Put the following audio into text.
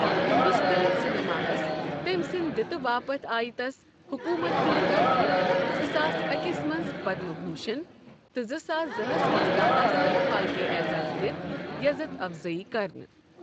ہِندوستٲنۍ سینماہس تٔمۍ سٕندۍ دِتہِ باپت آیہ تس حکومت ہِند طرفہٕ زٕ ساس أکِس منٛز پدم بھوشن تہٕ زٕ ساس زٕ ہَس منٛز دادا صاحب پھالکےاعزاز دِتھ یزتھ افضٲیی كرنہٕ ۔